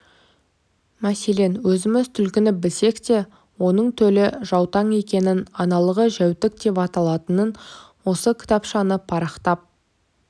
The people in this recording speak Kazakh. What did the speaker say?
мәселен өзіміз түлкіні білсек те оның төлі жаутаң екенін аналығы жәутік деп аталатынын осы кітапшаны парақтап